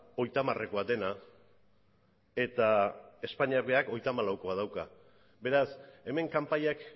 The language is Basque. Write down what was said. hogeita hamarekoa dena eta espainiak berak hogeita hamalaukoa dauka beraz hemen kanpaiak